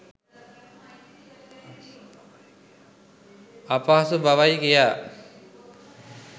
අපහසු බවයි, කියා.